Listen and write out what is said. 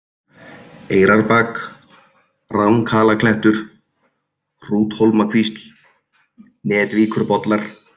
Eyrarbak, Ranghalaklettur, Hrúthólmakvísl, Netvíkurbollar